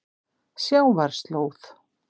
Sjávarslóð